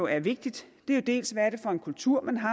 er vigtigt er jo dels hvad det er for en kultur man har